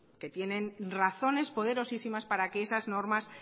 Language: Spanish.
que tienen razones poderosísimas para que esas normas